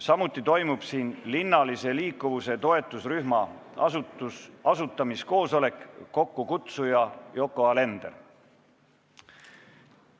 Samuti toimub siin linnalise liikuvuse toetusrühma asutamiskoosolek, kokkukutsuja on Yoko Alender.